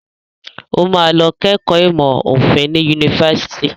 Ó máa lọ kẹ́kọ̀ọ́ ìmọ̀ òfin ní yunifásitì.